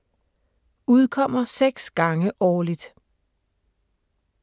Udkommer 6 gange årligt.